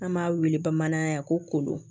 An b'a wele bamanankan ye ko kolo